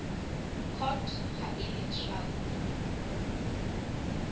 court ha e le traste